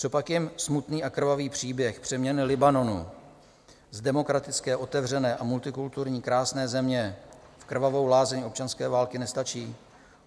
Copak jim smutný a krvavý příběh přeměny Libanonu z demokratické, otevřené a multikulturní krásné země v krvavou lázeň občanské války nestačí?